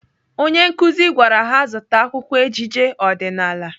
Onye nkụzi gwara ha zụta akwụkwọ ejije ọdịnaala.